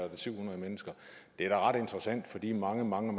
syv hundrede mennesker det er da ret interessant for de mange mange